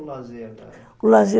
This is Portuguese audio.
o O lazer